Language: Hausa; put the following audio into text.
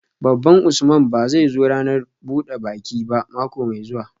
Baban Usman ba zai zo ranar buda baki ba mako mai zuwa